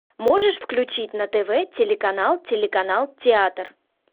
можешь включить на тв телеканал телеканал театр